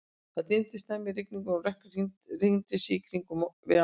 Það dimmdi snemma í rigningunni, og rökkrið hringaði sig í kringum okkur við arininn.